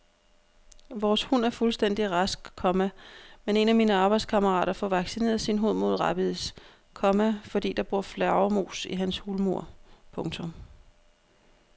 Vores hund er fuldstændig rask, komma men en af mine arbejdskammerater får vaccineret sin hund mod rabies, komma fordi der bor flagermus i hans hulmur. punktum